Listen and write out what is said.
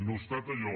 no ha estat allò